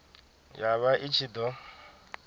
ya vha i ṱshi ḓo